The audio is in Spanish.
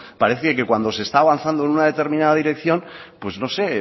parece que cuando se está avanzando en una determinada dirección pues no sé